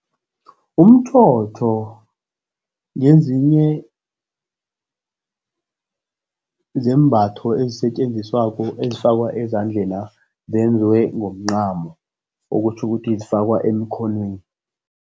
Umtjhotjho ngezinye zeembatho ezisetjenziswako ezifakwa ezandlena. Zenziwe ngomncamo, okutjho ukuthi zifakwa emikhonweni.